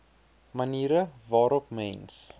maniere waarop mens